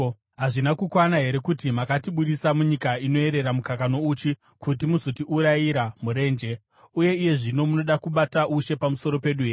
Hazvina kukwana here kuti makatibudisa munyika inoyerera mukaka nouchi kuti muzotiurayira murenje? Uye iye zvino munoda kubata ushe pamusoro pedu here?